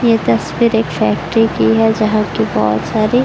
ये तस्वीर एक फैक्ट्री की है जहाँ की बहोत सारी --